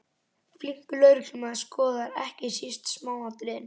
Flinkur lögreglumaður skoðar ekki síst smáatriðin.